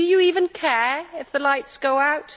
And do you even care if the lights go out?